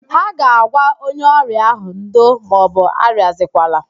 Ha ga-agwa onye ọrịa ahụ,"ndo maọbụ arịazikwala"